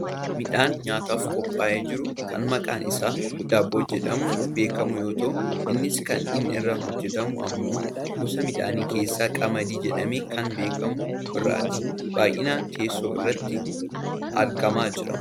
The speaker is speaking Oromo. Midhaan nyaataaf qophaa'ee jiru kan maqaan isaa daabboo jedhamuun beekkamu yoo ta'u innis kan inni irraa hojjatamu ammoo gosa midhaanii keessaa qamadii jedhamee kan beekkamu irraati. Baayyinaan teessoo irratti argamaa jira.